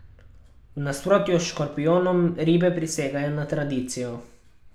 V nasprotju s škorpijonom ribe prisegajo na tradicijo.